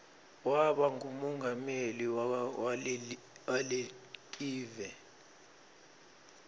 waba ngumongameli walekive